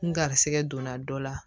N garisɛgɛ donna dɔ la